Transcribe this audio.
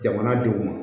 Jamana don ma